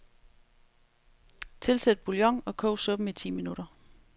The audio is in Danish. Tilsæt bouillon og kog suppen i ti minutter.